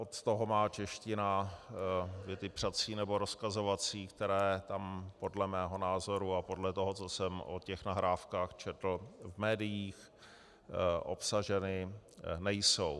Od toho má čeština věty přací nebo rozkazovací, které tam podle mého názoru a podle toho, co jsem o těch nahrávkách četl v médiích, obsaženy nejsou.